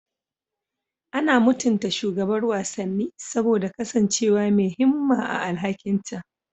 Ana mutunta shugabar wasanni saboda kasancewa mai himma a alhakinta.